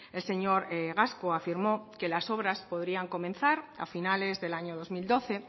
el señor gasco afirmó que las obras podrían comenzar a finales del año dos mil doce